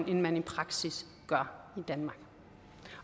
end man i praksis gør i danmark